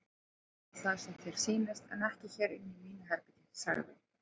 Gerðu það sem þér sýnist en ekki hér inni í mínu herbergi sagði